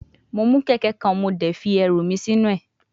Mo mu keke kan mo de fi eru mi sinu e